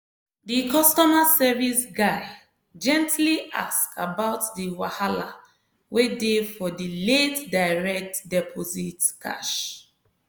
di customer service guy gently ask about di wahala wey dey for di late direct deposit cash